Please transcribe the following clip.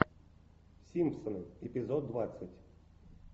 симпсоны эпизод двадцать